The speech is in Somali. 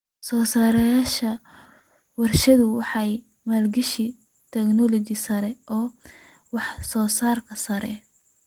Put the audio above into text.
Soosaarayaasha warshaduhu waxay maalgashadaan tignoolajiyada casriga ah ee wax soo saarka sare.